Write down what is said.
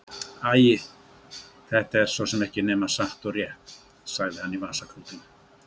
Æi, þetta er svo sem ekki nema satt og rétt, sagði hann í vasaklútinn.